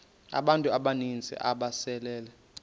abantu abaninzi ababesele